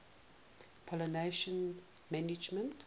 pollination management